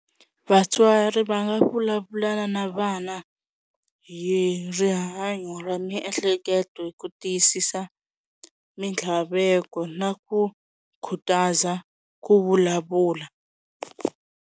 Vatswari va nga vulavulana na vana hi rihanyo ra miehleketo ku tiyisisa mintlhaveko na ku khutaza ku vulavula.